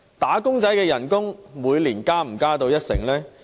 "打工仔"的薪金可以每年增加一成嗎？